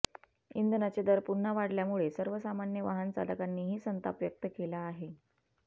इंधनाचे दर पुन्हा वाढल्यामुळे सर्वसामान्य वाहनचालकांनीही संताप व्यक्त केला आहे